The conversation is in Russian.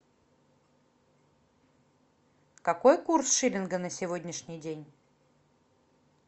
какой курс шиллинга на сегодняшний день